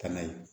Kɛnɛ ye